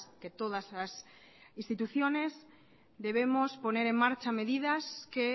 que todas las instituciones debemos poner en marcha medidas que